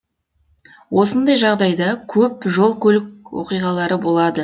осындай жағдайда көп жол көлік оқиғалары болады